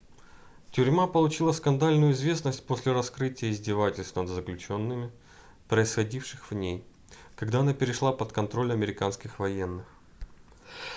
тюрьма получила скандальную известность после раскрытия издевательств над заключенными происходивших в ней когда она перешла под контроль американских военных